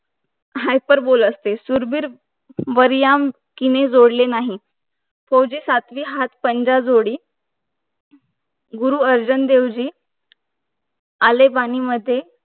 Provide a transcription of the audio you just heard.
हाय पर बोल असते शूर वीर वाऱ्यामकीने जोड्ले नाही होडी सातवी हात पंधरा जोडी गुरु अर्जुन देव जी आले वाणीमध्ये